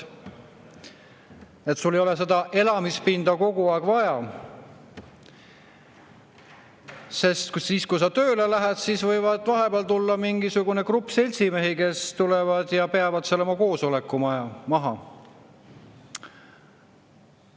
Sul ei olegi elamispinda kogu aeg vaja, sest siis, kui sa tööle lähed, võib vahepeal tulla mingisugune grupp seltsimehi ja pidada seal oma koosoleku maha.